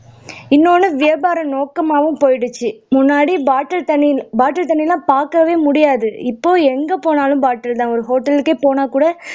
இன்னொன்னு வியாபார நோக்கமாவும் போயிடுச்சு முன்னாடி bottle தண்ணி bottle தண்ணி எல்லாம் பாக்கவே முடியாது இப்போ எங்க போனாலும் bottle தான் ஒரு hotel க்கே போனா கூட